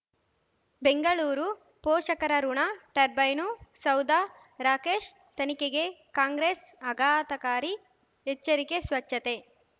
ಬೆಂಗಳೂರು ಪೋಷಕರಋಣ ಟರ್ಬೈನು ಸೌಧ ರಾಕೇಶ್ ತನಿಖೆಗೆ ಕಾಂಗ್ರೆಸ್ ಆಘಾತಕಾರಿ ಎಚ್ಚರಿಕೆ ಸ್ವಚ್ಛತೆ